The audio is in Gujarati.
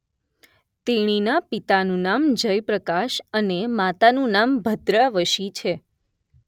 તેણીના પિતાનું નામ જય પ્રકાશ અને માતાનું નામ ભદ્રા વશી છે